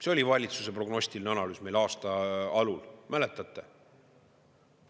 See oli valitsuse prognostilise analüüs meil aasta alul, mäletate?